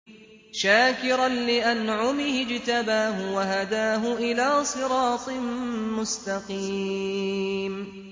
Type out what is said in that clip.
شَاكِرًا لِّأَنْعُمِهِ ۚ اجْتَبَاهُ وَهَدَاهُ إِلَىٰ صِرَاطٍ مُّسْتَقِيمٍ